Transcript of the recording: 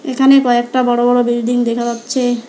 এখানে কয়েকটা বড়ো বড়ো বিল্ডিং দেখা যাচ্ছে।